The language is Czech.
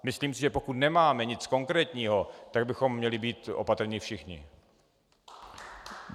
Myslím si, že pokud nemáme nic konkrétního, tak bychom měli být opatrní všichni.